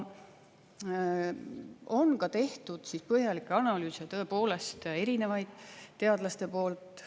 On ka tehtud põhjalikke analüüse, tõepoolest erinevaid, teadlaste poolt.